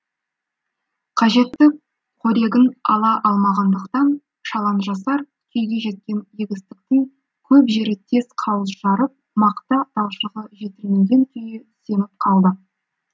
қажетті қорегін ала алмағандықтан шалажансар күйге жеткен егістіктің көп жері тез қауыз жарып мақта талшығы жетілмеген күйі семіп қалды